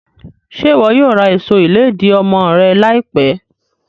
Ṣe iwọ yoo ra aṣọ iledi ọmọ rẹ laipẹ?